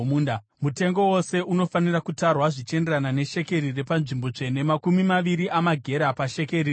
Mutengo wose unofanira kutarwa zvichienderana neshekeri repanzvimbo tsvene, makumi maviri amagera pashekeri rimwe.